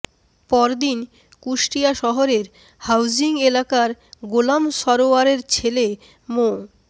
পরদিন কুষ্টিয়া শহরের হাউজিং এলাকার গোলাম সরোয়ারের ছেলে মো